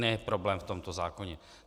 Ne problém v tomto zákoně.